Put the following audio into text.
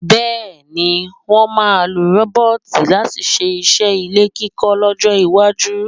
Bẹ́ẹ̀ ni, wọ́n máa lo rọ́bọ́ọ̀tì láti ṣe iṣẹ́ ilé kíkọ́ lọ́jọ́-iwájú.